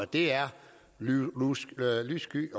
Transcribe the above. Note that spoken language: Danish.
det er lyssky